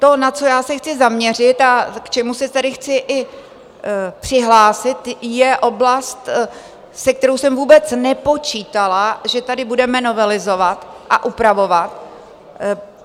To, na co já se chci zaměřit a k čemu se tady chci i přihlásit, je oblast, se kterou jsem vůbec nepočítala, že tady budeme novelizovat a upravovat.